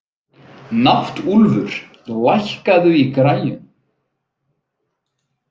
Náttúlfur, lækkaðu í græjunum.